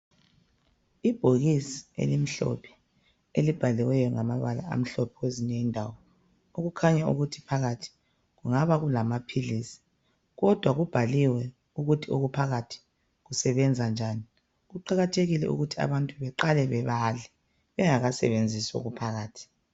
Ibhokisi elimhlophe elibhaliweyo ngamabala amhlophe kwezinye indawo. Okukhanya ukuthi phakathi kungaba kulamaphilisi, kodwa kubhaliwe ukuthi okuphakathi kusebenza njani .Kuqakathekile ukuthi abantu beqale bebale bengakasebenzisi okuphakathi.